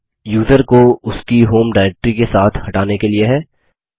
यह यूज़र को उसकी होम डायरेक्ट्री के साथ हटाने के लिए है